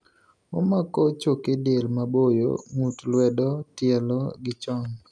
Omako choke del maboyo.ng'ut luedo ,tielo gi chong'